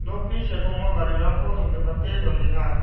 okni sepango garirangko dongdipate donenga.